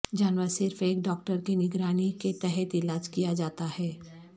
جانور صرف ایک ڈاکٹر کے نگرانی کے تحت علاج کیا جاتا ہے